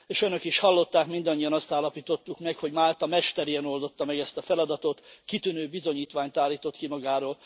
És Önök is hallották, mindannyian azt állapítottuk meg, hogy Málta mesterien oldotta meg ezt a feladatot, kitűnő bizonyítványt állított ki magáról.